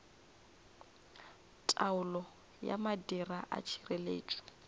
taolo ya madira a tšhireletšo